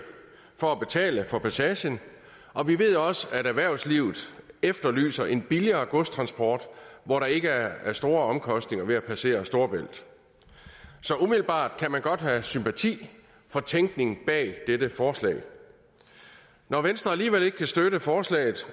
for at betale for passagen og vi ved også at erhvervslivet efterlyser en billigere godstransport hvor der ikke er store omkostninger ved at passere over storebælt så umiddelbart kan man godt have sympati for tænkningen bag dette forslag når venstre alligevel ikke kan støtte forslaget